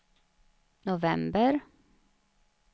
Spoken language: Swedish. november